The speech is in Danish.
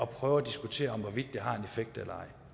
prøve at diskutere hvorvidt det har en effekt eller ej